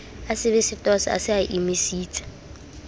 asebesetose e se e emisitse